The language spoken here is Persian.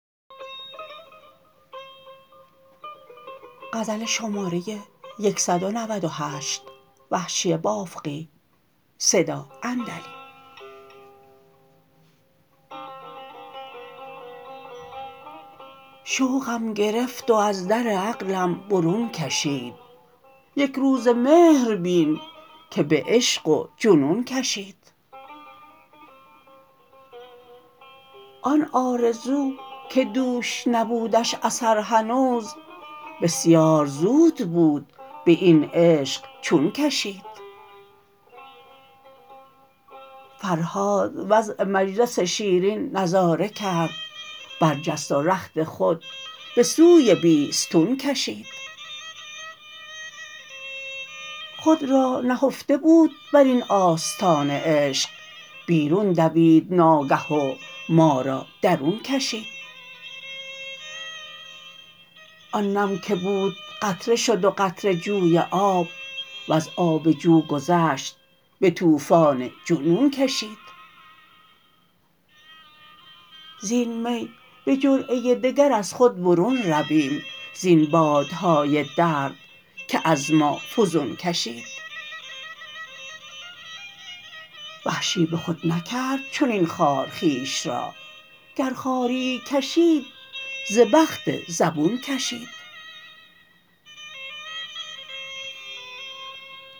شوقم گرفت و از در عقلم برون کشید یکروزه مهر بین که به عشق و جنون کشید آن آرزو که دوش نبودش اثر هنوز بسیار زود بود به این عشق چون کشید فرهاد وضع مجلس شیرین نظاره کرد برجست و رخت خود به سوی بیستون کشید خود را نهفته بود بر این آستانه عشق بیرون دوید ناگه و مارا درون کشید آن نم که بود قطره شد و قطره جوی آب وز آب جو گذشت به توفان جنون کشید زین می به جرعه دگر از خود برون رویم زین بادهای درد که از ما فزون کشید وحشی به خود نکرد چنین خوار خویش را گر خواریی کشید ز بخت زبون کشید